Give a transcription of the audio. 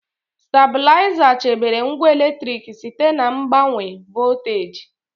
Stabịlaịza chebere ngwa eletriki site na mgbanwe volteji.